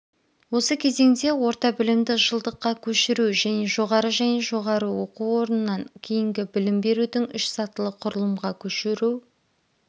осы кезеңде орта білімді жылдыққа көшіру және жоғары және жоғары оқу орнынан кейінгі білім беруді үш сатылы құрлымға көшіру